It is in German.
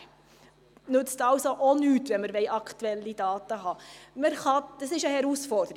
Auch das nützt uns also nichts, wenn wir aktuelle Daten haben wollen.